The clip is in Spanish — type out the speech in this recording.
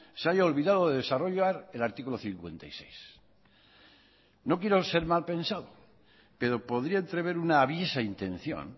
se haya olvidado de desarrollar el artículo cincuenta y seis no quiero ser mal pensado pero podría entrever una aviesa intención